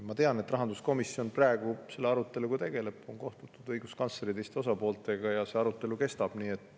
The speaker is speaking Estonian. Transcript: Ma tean, et rahanduskomisjon praegu arutab seda, on kohtutud õiguskantsleri ja teiste osapooltega ja see arutelu kestab.